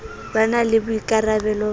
e na le boikarabelo ba